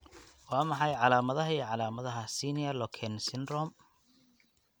Waa maxay calaamadaha iyo calaamadaha Senior Loken Syndrome?